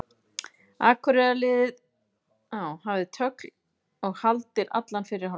Akureyrarliðið hafði tögl og haldir allan fyrri hálfleikinn.